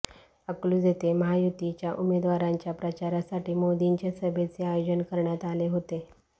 अकलूज येथे महायुतीच्या उमेदवारांच्या प्रचारासाठी मोदींच्या सभेचे आयोजन करण्यात आले होते